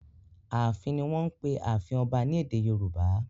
"Ààfin" ni wọ́n ń pe ààfin ọba ní èdè Yorùbá.